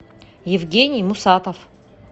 евгений мусатов